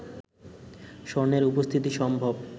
স্বর্ণের উপস্থিতি সম্ভব